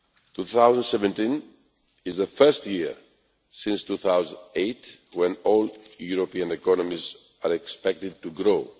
2017 is the first year since 2008 when all European economies are expected to grow.